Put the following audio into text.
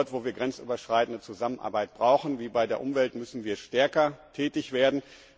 Dort, wo wir grenzüberschreitende Zusammenarbeit brauchen, wie bei der Umwelt, müssen wir stärker tätig werden.